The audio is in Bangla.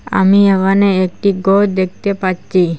আমি এমানে একটি গর দেখতে পাচ্চি।